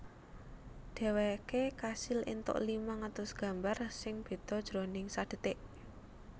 Dhèwèké kasil éntuk limang atus gambar sing béda jroning sadhetik